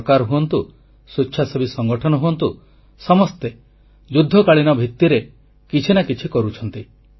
ସରକାର ହୁଅନ୍ତୁ ସ୍ୱେଚ୍ଛାସେବୀ ସଂଗଠନ ହୁଅନ୍ତୁ ସମସ୍ତେ ଯୁଦ୍ଧକାଳୀନ ଭିତ୍ତିରେ କିଛି ନା କିଛି କରୁଛନ୍ତି